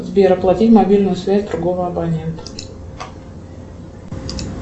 сбер оплатить мобильную связь другого абонента